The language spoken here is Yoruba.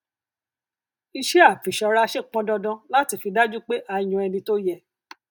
iṣẹ àfìṣọraṣe pọn dandan láti fi dájú pé a yàn ẹni tó yẹ